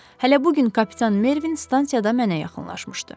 Hələ bu gün kapitan Mervin stansiyada mənə yaxınlaşmışdı.